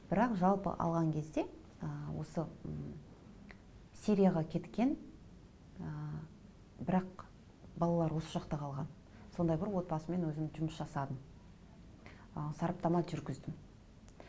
бірақ жалпы алған кезде ы осы сирияға кеткен ы бірақ балалары осы жақта қалған сондай бір отбасымен өзім жұмыс жасадым ы сараптама жүргіздім